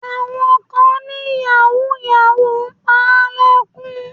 Àwọn kan ni yàwúù-yàwúù ń pa lẹ́kún.